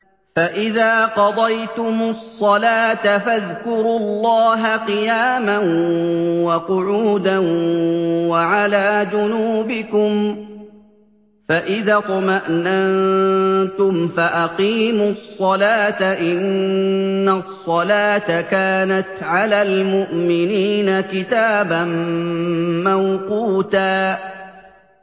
فَإِذَا قَضَيْتُمُ الصَّلَاةَ فَاذْكُرُوا اللَّهَ قِيَامًا وَقُعُودًا وَعَلَىٰ جُنُوبِكُمْ ۚ فَإِذَا اطْمَأْنَنتُمْ فَأَقِيمُوا الصَّلَاةَ ۚ إِنَّ الصَّلَاةَ كَانَتْ عَلَى الْمُؤْمِنِينَ كِتَابًا مَّوْقُوتًا